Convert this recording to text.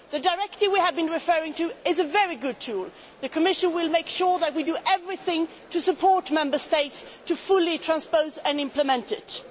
The directive we have been referring to is a very good tool. The Commission will make sure that it does everything to support the Member States in fully transposing and implementing it.